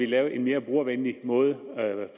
lavet en mere brugervenlig måde